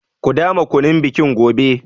Ku dama kunun bikin gobe.